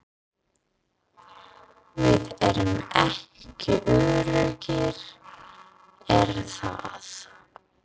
Við erum ekki öruggir er það?